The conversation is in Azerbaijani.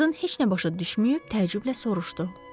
Qadın heç nə başa düşməyib təəccüblə soruşdu.